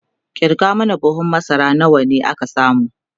kirga mana buhun masara nawa aka samu!